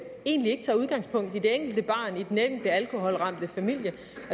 egentlig ikke tager udgangspunkt i det enkelte barn i den enkelte alkoholramte familie